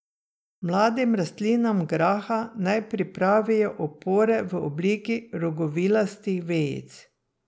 Mladim rastlinam graha naj pripravijo opore v obliki rogovilastih vejic.